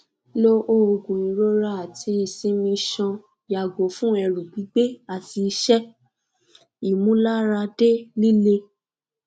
lo oogun irora ati isimi isan yago fun eru gbigbe ati ise imularade lile